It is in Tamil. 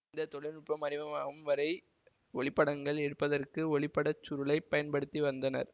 இந்த தொழில்நுட்பம் அறிமுகமாகும் வரை ஒளிப்படங்கள் எடுப்பதற்கு ஒளிப்படச் சுருளைப் பயன்படுத்தி வந்தனர்